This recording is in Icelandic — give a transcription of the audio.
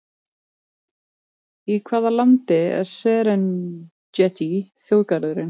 Í hvaða landi er Serengeti þjóðgarðurinn?